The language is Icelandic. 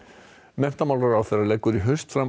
menntamálaráðherra leggur í haust fram